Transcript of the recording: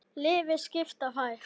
Liðið skipa þær